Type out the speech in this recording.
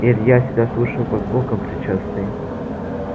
илья всегда слушал как боком причастный